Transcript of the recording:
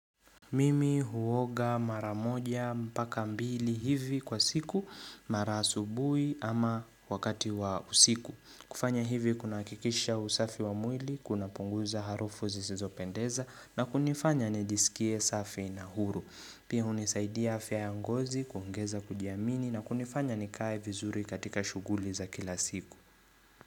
Mimi huoga maramoja mpaka mbili hivi kwa siku, mara asubuhi ama wakati wa usiku. Kufanya hivi kuna hikikisha usafi wa mwili, kuna punguza harufu zizopendeza na kunifanya nijisikie safi na huru. Pia hunisaidiaa fya yangozi, kuongeza kujiamini na kunifanya nikae vizuri katika shuguli za kila siku.